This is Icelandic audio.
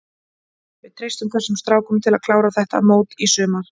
Við treystum þessum strákum til að klára þetta mót í sumar.